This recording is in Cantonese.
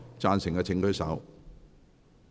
贊成的請舉手。